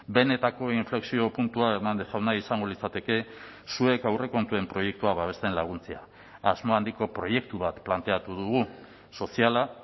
benetako inflexio puntua hernández jauna izango litzateke zuek aurrekontuen proiektua babesten laguntzea asmo handiko proiektu bat planteatu dugu soziala